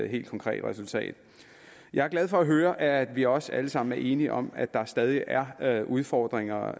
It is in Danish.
helt konkret resultat jeg er glad for at høre at vi også alle sammen er enige om at der stadig er er udfordringer